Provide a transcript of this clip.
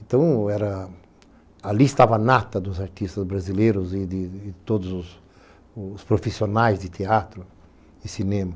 Então era, ali estava a nata dos artistas brasileiros e de todos os profissionais de teatro e cinema.